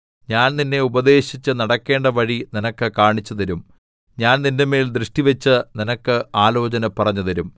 ഞാൻ നിന്നെ ഉപദേശിച്ച് നടക്കേണ്ട വഴി നിനക്ക് കാണിച്ചുതരും ഞാൻ നിന്റെമേൽ ദൃഷ്ടിവെച്ച് നിനക്ക് ആലോചന പറഞ്ഞുതരും